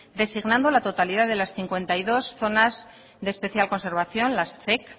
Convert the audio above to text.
designando la totalidad de las cincuenta y dos zonas de especial conservación las zec